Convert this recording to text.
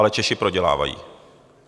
Ale Češi prodělávají.